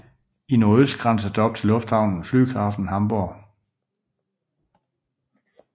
I nordøst grænses der op til lufthavnen Flughafen Hamburg